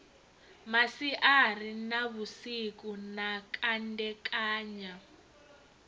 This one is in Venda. masiari na vhusiku na kandekanya